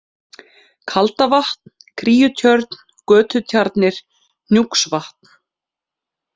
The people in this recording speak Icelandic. Kaldavatn, Kríutjörn, Götutjarnir, Hnjúksvatn